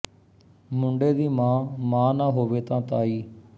ਮੁੰਡੇ ਦੀ ਮਾਂ ਮਾਂ ਨਾ ਹੋਵੇ ਤਾਂ ਤਾਈ